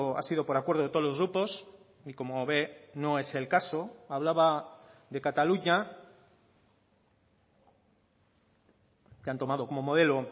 ha sido por acuerdo de todos los grupos y como ve no es el caso hablaba de cataluña que han tomado como modelo